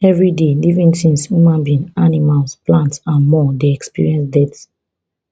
evriday living tins human being animals plant and more dey experience death